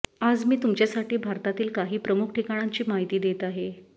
आज मी तुमच्यासाठी भारतातील काही प्रमुख ठिकाणांची माहिती देत आहे